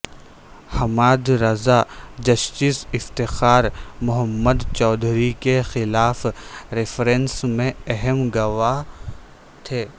Hammad Raza justice Iftikhar Muhammad Chaudhry کے خلاف reference میں اہم گواہ تھے